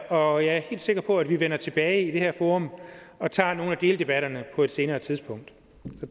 og jeg er helt sikker på at vi vender tilbage i det her forum og tager nogle af deldebatterne på et senere tidspunkt